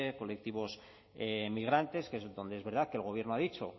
colectivos migrantes que es donde es verdad que el gobierno ha dicho